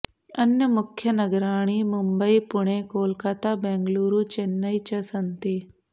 अन्यमुख्यनगराणि मुम्बयी पुणे कोलकाता बेङ्गलुरु चेन्नै च सन्ति